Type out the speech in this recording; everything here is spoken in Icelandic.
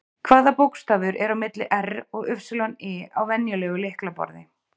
Hvaða bókstafur er á milli R og Y á venjulegu lyklaborði?